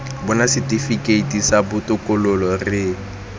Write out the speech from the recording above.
bona setifikeiti sa botokololo re